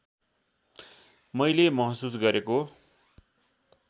मैले महसुस गरेको